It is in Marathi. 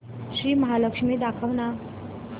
श्री महालक्ष्मी दाखव ना